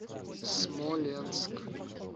смоленск